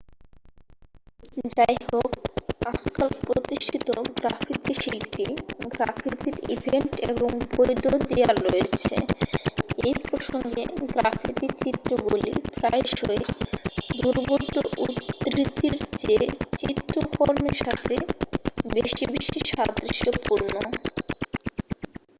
"যাইহোক আজকাল প্রতিষ্ঠিত গ্রাফিতি শিল্পী গ্রাফিতির ইভেন্ট এবং "বৈধ" দেয়াল রয়েছে। এই প্রসঙ্গে গ্রাফিতি চিত্রগুলি প্রায়শই দুর্বোধ্য উদ্ধৃতির চেয়ে শিল্পকর্মের সাথে বেশি সাদৃশ্যপূর্ণ।